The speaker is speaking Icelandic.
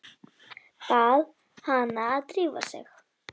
Bað hana að drífa sig.